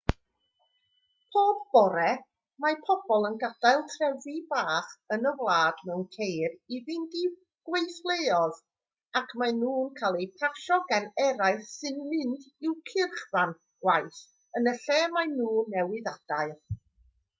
pob bore mae pobl yn gadael trefi bach yn y wlad mewn ceir i fynd i'w gweithleoedd ac maen nhw'n cael eu pasio gan eraill sy'n mynd i'w cyrchfan gwaith yn y lle maen nhw newydd adael